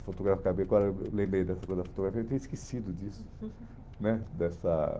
fotogra acabei agora eu lembrei dessa coisa da fotografia, eu tinha esquecido disso, né? Dessa